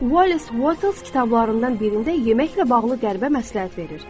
Wallace Wattles kitablarından birində yeməklə bağlı qəribə məsləhət verir.